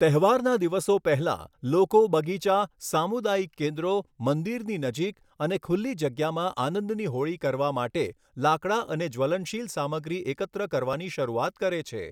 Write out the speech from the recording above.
તહેવારના દિવસો પહેલા, લોકો બગીચા, સામુદાયિક કેન્દ્રો, મંદિરની નજીક અને ખુલ્લી જગ્યામાં આનંદની હોળી કરવા માટે લાકડા અને જ્વલનશીલ સામગ્રી એકત્ર કરવાની શરૂઆત કરે છે.